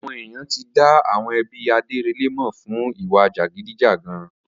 Awọn èyán ti dá àwọn ẹbí Adérẹlè mọ fún ìwà jàgídíjàgan